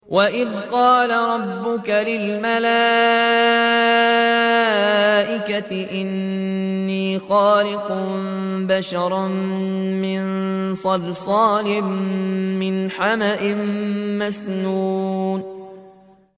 وَإِذْ قَالَ رَبُّكَ لِلْمَلَائِكَةِ إِنِّي خَالِقٌ بَشَرًا مِّن صَلْصَالٍ مِّنْ حَمَإٍ مَّسْنُونٍ